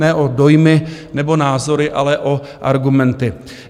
Ne o dojmy nebo názory, ale o argumenty.